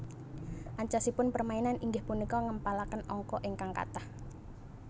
Ancasipun permainan inggih punika ngèmpalakèn angka ingkang katah